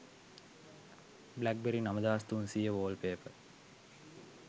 blackberry 9300 wallpaper